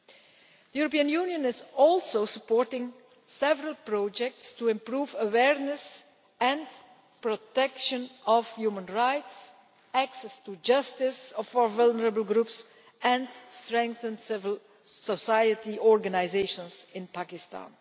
The European Union is also supporting several projects to improve awareness and protection of human rights, access to justice for vulnerable groups and to strengthen civil society organisations in Pakistan.